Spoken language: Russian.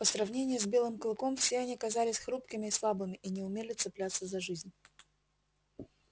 по сравнению с белым клыком все они казались хрупкими и слабыми и не умели цепляться за жизнь